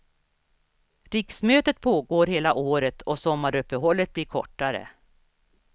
Riksmötet pågår hela året och sommaruppehållet blir kortare.